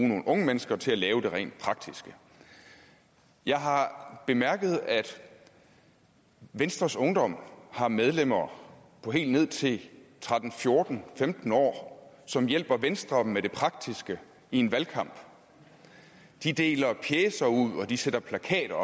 nogle unge mennesker til at lave det rent praktiske jeg har bemærket at venstres ungdom har medlemmer på helt ned til tretten fjorten år femten år som hjælper venstre med det praktiske i en valgkamp de deler pjecer ud og de sætter plakater